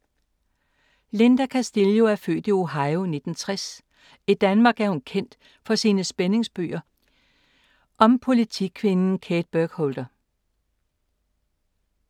Linda Castillo er født i Ohio i 1960. I Danmark er hun kendt for sine spændingsbøger om politikvinden Kate Burkholder.